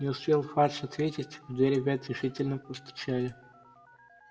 не успел фадж ответить в дверь опять решительно постучали